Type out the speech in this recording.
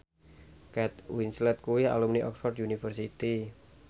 Kate Winslet kuwi alumni Oxford university